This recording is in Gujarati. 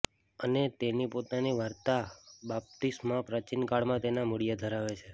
અને તેની પોતાની વાર્તા બાપ્તિસ્મા પ્રાચીનકાળમાં તેના મૂળિયા ધરાવે છે